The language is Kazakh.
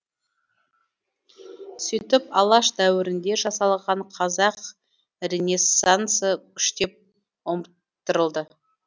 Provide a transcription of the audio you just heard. сөйтіп алаш дәуірінде жасалған қазақ ренессансы күштеп ұмыттырылды